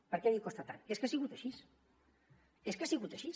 per què li costa tant és que ha sigut així és que ha sigut així